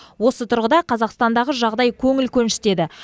осы тұрғыда қазақстандағы жағдай көңіл көншітеді